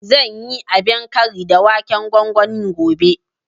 Zan yi abin kari da waken gwangwani gobe